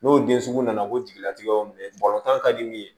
N'o den sugu nana ko jigilatigɛ y'o minɛ balontan ka di min ye